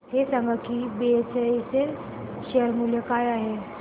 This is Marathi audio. हे सांगा की बीएचईएल चे शेअर मूल्य काय आहे